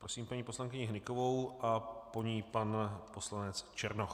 Prosím paní poslankyni Hnykovou a po ní pan poslanec Černoch.